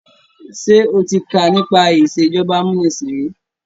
Ṣé o ti ká nípa ìsèjọba amúnisìn rí?